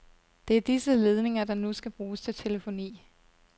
Det er disse ledninger, der nu skal bruges til telefoni.